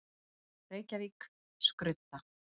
Reykjavík: Skrudda.